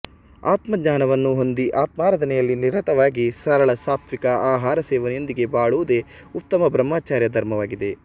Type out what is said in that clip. ಆತ್ಮಜ್ಞಾನವನ್ನು ಹೊಂದಿ ಆತ್ಮಾರಾಧನೆಯಲ್ಲಿ ನಿರತವಾಗಿ ಸರಳ ಸಾತ್ವಿಕ ಆಹಾರ ಸೇವನೆಯೊಂದಿಗೆ ಬಾಳುವುದೇ ಉತ್ತಮ ಬ್ರಹ್ಮಚರ್ಯ ಧರ್ಮವಾಗಿದೆ